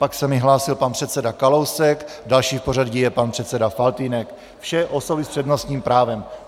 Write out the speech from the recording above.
Pak se mi hlásil pan předseda Kalousek, další v pořadí je pan předseda Faltýnek, vše osoby s přednostním právem.